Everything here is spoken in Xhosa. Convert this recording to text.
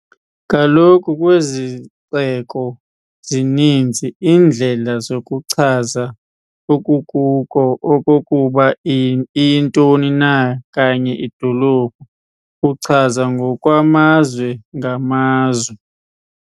Kaloku kwizixeko, zininzi iindlela zokuchaza okokuba iyintoni na kanye idolophu, uchaza ngokwamazwe-ngamazwe.